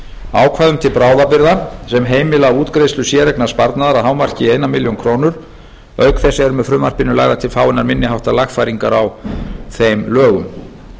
ákvæðum til bráðabirgða sem heimila útgreiðslu séreignarsparnaðar að hámarki einni milljón króna auk þess eru með frumvarpinu lagðar til fáeinar minni háttar lagfæringar á þeim lögum